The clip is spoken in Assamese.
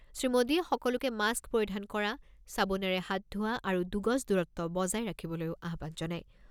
শ্ৰীমোদীয়ে সকলোকে মাস্ক পৰিধান কৰা, চাবোনেৰে হাত ধোৱা আৰু দুগজ দূৰত্ব বজাই ৰাখিবলৈও আহ্বান জনায়।